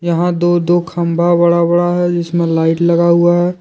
यहां दो दो खंबा बड़ा बड़ा है जिसमें लाइट लगा हुआ है।